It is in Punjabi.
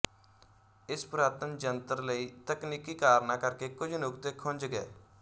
ਇਸ ਪੁਰਾਤਨ ਜੰਟਰ ਲਈ ਤਕਨੀਕੀ ਕਾਰਨਾਂ ਕਰਕੇ ਕੁਝ ਨੁਕਤੇ ਖੁੰਜ ਗਏ